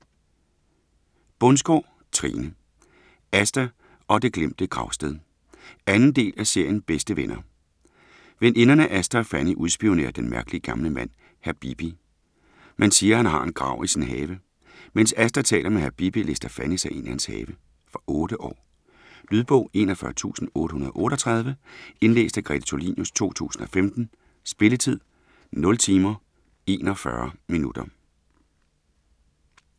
Bundsgaard, Trine: Asta og det glemte gravsted 2. del af serien Bedste venner. Veninderne Asta og Fanny udspionerer den mærkelige gamle mand, hr. Bibi. Man siger, han har en grav i sin have. Mens Asta taler med hr. Bibi, lister Fanny sig ind i hans have. Fra 8 år. Lydbog 41838 Indlæst af GreteTulinius, 2015. Spilletid: 0 timer, 41 minutter.